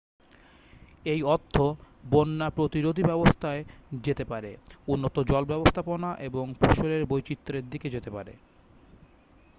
এই অর্থ বন্যা-প্রতিরোধী ব্যবস্থায় যেতে পারে উন্নত জল-ব্যবস্থাপনা এবং ফসলের বৈচিত্র্যের দিকে যেতে পারে